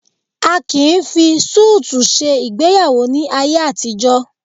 A kì í fi súùtù ṣe ìgbéyàwó ní ayé àtijọ́